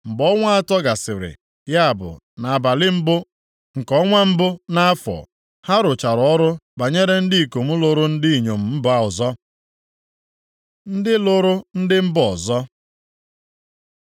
Mgbe ọnwa atọ gasịrị, ya bụ, nʼabalị mbụ nke ọnwa mbụ nʼafọ, ha rụchara ọrụ banyere ndị ikom lụrụ ndị inyom mba ọzọ. Ndị lụrụ ndị mba ọzọ